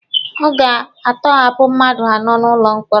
Ọ ga-atọhapụ mmadụ anọ n'ụlọ mkpọrọ.